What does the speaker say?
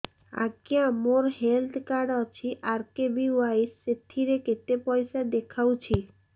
ଆଜ୍ଞା ମୋର health card ଅଛି ଆର୍.କେ.ବି.ୱାଇ ସେଥିରେ କେତେ ପଇସା ଦେଖଉଛି